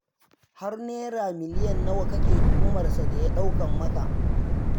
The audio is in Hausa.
Har Naira miliyan nawa kake tuhumar sa da ya ɗaukar maka?